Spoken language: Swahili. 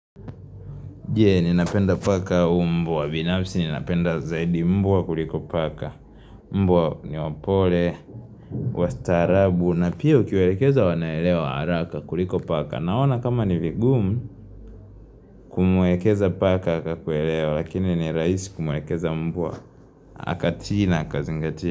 Jee, ninapenda paka au mbwa binafsi, ninapenda zaidi mbwa wa kuliko paka Mbwa niwapole, wastarabu, na pia ukiwelekeza wanaelewa haraka kuliko paka Naona kama ni vigumu kumuwelekeza paka akakuelewa, lakini ni raisi kumuwelekeza mbwa akatii na akazingatia Haka tijina haka zingatia.